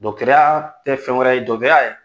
tɛ fɛn wɛrɛ ye ye